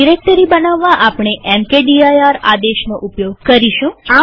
directory બનાવવા આપણે mkdir આદેશનો ઉપયોગ કરીશું